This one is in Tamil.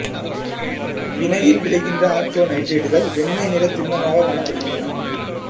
வினையில் விளைகின்ற ஆர்த்தோ நைட்ரேட்டுகள் வெண்மை நிறத் தின்மமாகக் காணப்படுகின்றன